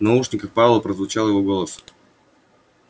в наушниках пауэлла прозвучал его голос